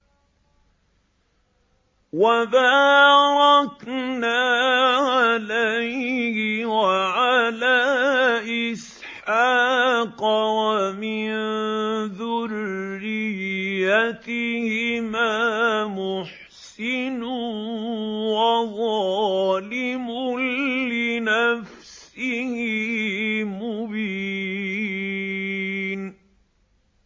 وَبَارَكْنَا عَلَيْهِ وَعَلَىٰ إِسْحَاقَ ۚ وَمِن ذُرِّيَّتِهِمَا مُحْسِنٌ وَظَالِمٌ لِّنَفْسِهِ مُبِينٌ